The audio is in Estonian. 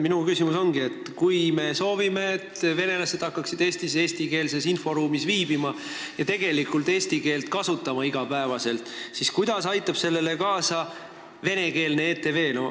Minu küsimus on, et kui me soovime, et venelased hakkaksid Eestis eestikeelses inforuumis viibima ja eesti keelt iga päev kasutama, siis kuidas aitab sellele kaasa venekeelne ETV.